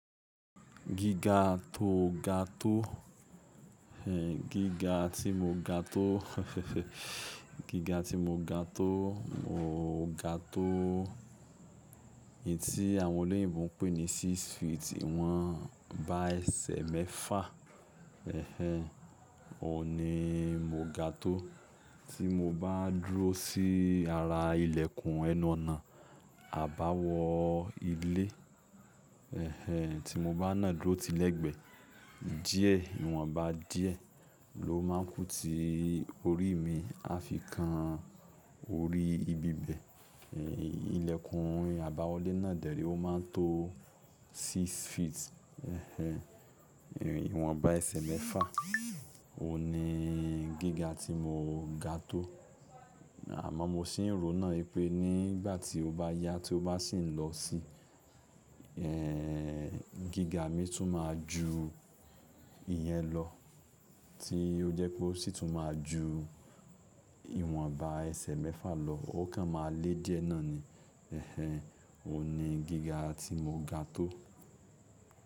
Gíga tó ga tó, gíga tí mo ga tó, gíga tí mo ga tó, mo ga tó ètí àwọn olóyìnbo pè ní six feet, ìwọ̀n bá ẹsẹ̀ mẹ́fà. Ẹ̀hẹn. Òní mo ga tó. Tí mo bá dúró sí ara ìlẹ̀kùn ẹnu ọ̀nà, àbáwọ ilé. Tí mo bá nà dúró ti lẹ́gbẹ́, díẹ̀ ìwọ̀n bá díẹ̀ ló máa ń kú ti orí mi, a fi kan orí ibi bẹ̀. Ìlẹ̀kùn àbáwọlé náà dẹ̀rí ó máa ń tó six feet. Ẹ̀hẹn. Ìwọ̀n bá ẹsẹ̀ mẹ́fà. Ó ní gíga tí mo ga tó. Àmọ́ mo sì ń ròná pé nígbà tí ó bá yá, tí ó bá sì ń lọ sí, ẹ́ẹ̀, gíga mi tún máa ju ìyẹn lọ tí ó jẹ́ pé ó sì tún máa ju ìwọ̀n bá ẹsẹ̀ mẹ́fà lọ, ó kan máa le díẹ̀ náà ni Ó ní gíga tí mo ga tó.